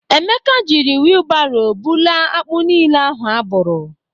Ekeke jiri wilbaro bụla akpụ niile ahụ abụrụ.